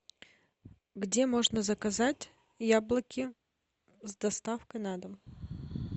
где можно заказать яблоки с доставкой на дом